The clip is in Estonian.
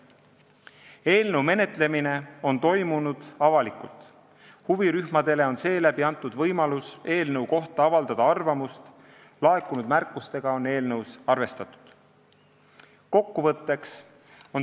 Eelnõu menetlemine on toimunud avalikult, huvirühmadele on antud võimalus eelnõu kohta arvamust avaldada ja laekunud märkustega on eelnõus arvestatud.